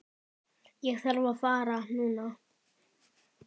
Ég þarf að fara núna